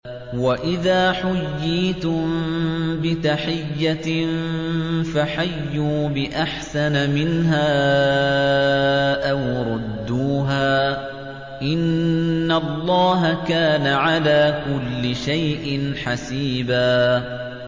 وَإِذَا حُيِّيتُم بِتَحِيَّةٍ فَحَيُّوا بِأَحْسَنَ مِنْهَا أَوْ رُدُّوهَا ۗ إِنَّ اللَّهَ كَانَ عَلَىٰ كُلِّ شَيْءٍ حَسِيبًا